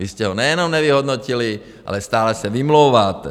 Vy jste ho nejenom nevyhodnotili, ale stále se vymlouváte.